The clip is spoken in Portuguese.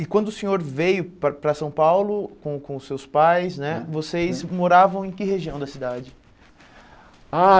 E quando o senhor veio para para São Paulo com com os seus pais né, vocês moravam em que região da cidade? Ah